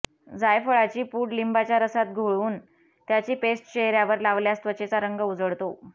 जायफळाची पूड लिंबाच्या रसात घोळवून त्याची पेस्ट चेहऱ्यावर लावल्यास त्वचेचा रंग उजळतो